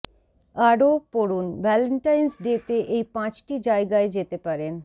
আরও পড়ুন Valentine's day তে এই পাঁচটি জায়গায় যেতে পারেন